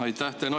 Aitäh!